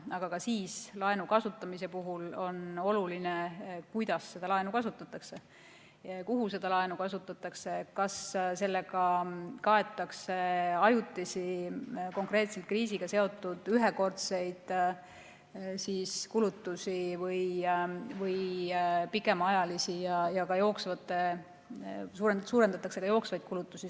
Aga ka siis on laenu kasutamise puhul oluline, kuidas seda laenu kasutatakse, kuhu see laen suunatakse, kas sellega kaetakse ajutisi, konkreetselt kriisiga seotud ühekordseid kulutusi või pikemaajalisi ja kas suurendatakse ka jooksvaid kulutusi.